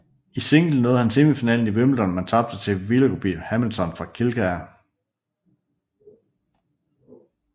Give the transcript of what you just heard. I single nåede han semifinalen i Wimbledon men tabte til Willoughby Hamilton fra Kildare